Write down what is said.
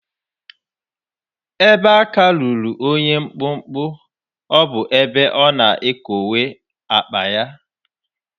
Ebe aka ruru onye mkpụmkpụ, ọ bụ ebe ọ na-ekowe akpa ya.